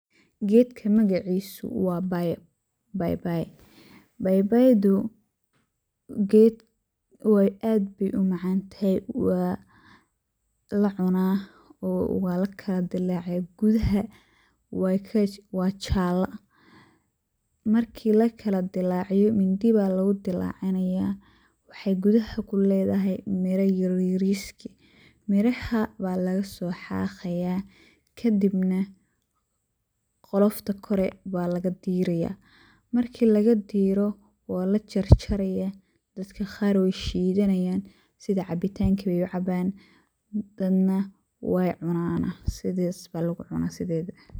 Gedka magaciisu waa baybay, baybaydu waa geed ,aad bey u macaan tahay, waa la cunaa ,waa la kala dilaciyaa, gudaha wey ka, waa jalla, marki la kala dillaciyo, mindi baa lagu kala dillacinayaa ,waxey gudaha ku ledahay mira yaryariski. Miraha baa lagasoo xaqayaa, kadibna qolofta kore baa laga dirayaa, marki laga diiro waa la jarjarayaa, dadka qaar wey shidanayaan ,sida cabitaanki bey u cabaan dadna wey cunaana sidaas baa lagu cunaa.